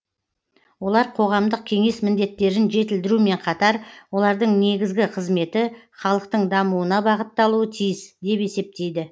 олар қоғамдық кеңес міндеттерін жетілдірумен қатар олардың негізгі қызметі халықтың дамуына бағытталуы тиіс деп есептейді